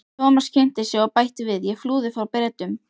Thomas kynnti sig og bætti við: Ég flúði frá Bretum